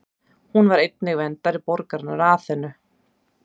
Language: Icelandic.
Hún var einnig verndari borgarinnar Aþenu.